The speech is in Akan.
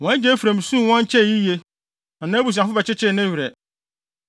Wɔn agya Efraim suu wɔn kyɛe yiye, na nʼabusuafo bɛkyekyee ne werɛ.